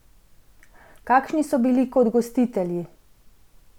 Kakšni so bili kot gostitelji?